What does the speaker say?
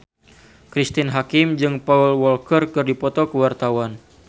Cristine Hakim jeung Paul Walker keur dipoto ku wartawan